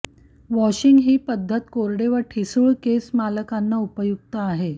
washing ही पद्धत कोरडे व ठिसूळ केस मालकांना उपयुक्त आहे